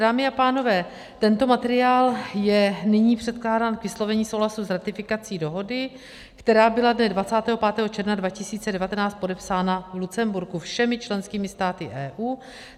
Dámy a pánové, tento materiál je nyní předkládán k vyslovení souhlasu s ratifikací dohody, která byla dne 25. června 2019 podepsána v Lucemburku všemi členskými státy EU.